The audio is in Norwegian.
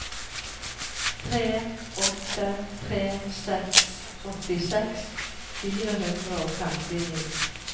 tre åtte tre seks åttiseks fire hundre og femtini